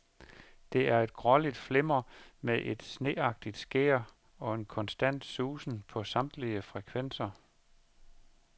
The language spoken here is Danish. Der er et gråligt flimmer med et sneagtigt skær, og en konstant susen på samtlige frekvenser.